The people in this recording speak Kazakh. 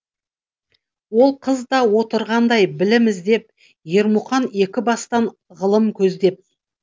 ол қыз да отырғандай білім іздеп ермұқан екібастан ғылым көздеп